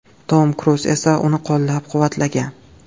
Tom Kruz esa uni qo‘llab-quvvatlagan.